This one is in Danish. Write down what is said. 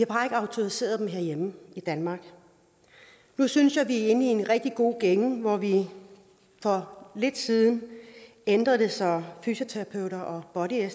autoriseret osteopaterne herhjemme i danmark nu synes jeg vi er inde i en rigtig god gænge hvor vi for lidt siden ændrede det så fysioterapeuter og body